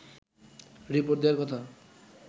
report দেয়ার কথা